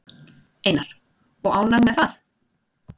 Einar: Og ánægð með það?